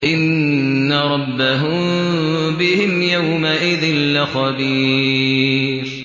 إِنَّ رَبَّهُم بِهِمْ يَوْمَئِذٍ لَّخَبِيرٌ